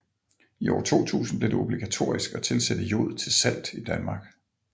I år 2000 blev det obligatorisk at tilsætte jod til salt i Danmark